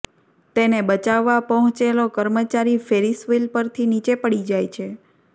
તેને બચાવવા પહોંચેલો કર્મચારી ફેરિસ વીલ પરથી નીચે પડી જાય છે